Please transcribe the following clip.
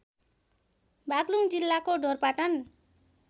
बागलुङ जिल्लाको ढोरपाटन